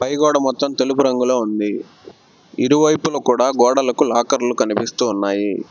పై గోడ మొత్తం తెలుపు రంగులో ఉంది ఇరువైపుల కూడా గోడలకు లాకర్లు కనిపిస్తున్నాయి.